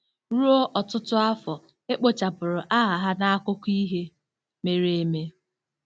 Ruo ọtụtụ afọ, e kpochapụrụ aha ha n'akụkọ ihe mere eme.